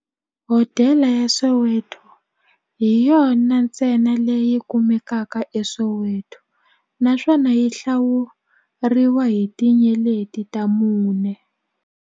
Hodela ya Soweto hi yona ntsena leyi kumekaka eSoweto, naswona yi hlawuriwa hi tinyeleti ta mune.